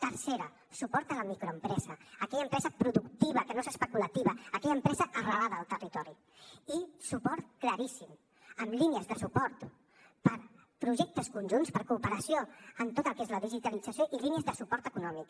tercer suport a la microempresa aquella empresa productiva que no és especulativa aquella empresa arrelada al territori i suport claríssim amb línies de suport per a projectes conjunts per a cooperació en tot el que és la digitalització i línies de suport econòmic